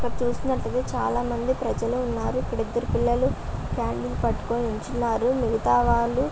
ఇక్కడ చూస్తున్నట్లయితే చాలామంది ప్రజలు ఉన్నారు. ఇక్కడ ఇద్దరు పిల్లలు క్యాండిల్ పట్టుకొని నించున్నారు మిగతావాళ్ళు --